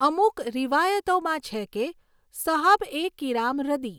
અમુક રિવાયતોમાં છે કે સહાબએ કિરામ રદિ.